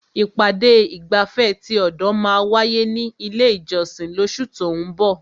Ìpàdé ìgbafẹ́ ti ọ̀dọ̀ máa wáyé ní ilé ìjọsìn lóṣù tó ún bọ̀.